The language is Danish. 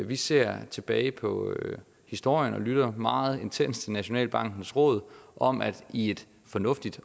vi ser tilbage på historien og lytter meget intenst til nationalbankens råd om at i et fornuftigt